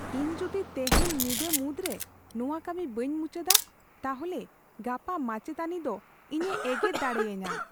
ᱤᱧ ᱡᱩᱫᱤ ᱛᱮᱦᱮᱧ ᱧᱤᱫᱟᱹ ᱢᱩᱫᱨᱮ ᱱᱚᱣᱟ ᱠᱟᱹᱢᱤ ᱵᱟᱹᱧ ᱢᱩᱪᱟᱹᱫᱼᱟ, ᱛᱟᱦᱚᱞᱮ ᱜᱟᱯᱟ ᱢᱟᱪᱮᱫᱟᱹᱱᱤ ᱫᱚ ᱤᱧᱮ ᱮᱜᱮᱨ ᱫᱟᱲᱮᱭᱟᱹᱧᱟ ᱾